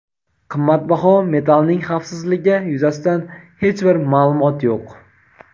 Qimmatbaho metalning xavfsizligi yuzasidan hech bir ma’lumot yo‘q.